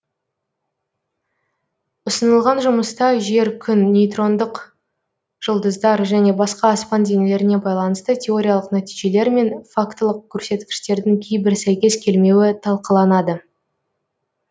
ұсынылған жұмыста жер күн нейтрондық жұлдыздар және басқа аспан денелеріне байланысты теориялық нәтижелер мен фактылық көрсеткіштердің кейбір сәйкес келмеуі талқыланады